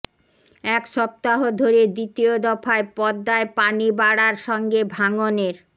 এক সপ্তাহ ধরে দ্বিতীয় দফায় পদ্মায় পানি বাড়ার সঙ্গে ভাঙনের